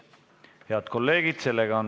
Head kolleegid!